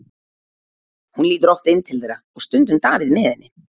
Hún lítur oft inn til þeirra og stundum Davíð með henni.